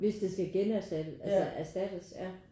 Hvis det skal generstattes altså erstattes ja